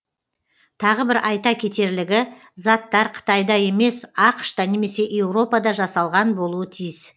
тағы бір айта кетерлігі заттар қытайда емес ақш та немесе еуропада жасалған болуы тиіс